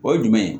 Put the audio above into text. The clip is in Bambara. O ye jumɛn ye